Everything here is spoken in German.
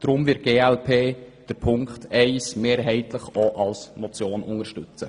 Deshalb wird die glp Ziffer 1 mehrheitlich auch als Motion unterstützen.